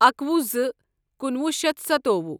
اکوُہ زٕ کُنوُہ شیتھ سَتووُہ